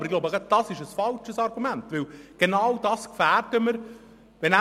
Aber ich glaube, das ist ein falsches Argument, denn genau diese Versorgungssicherheit gefährden wir.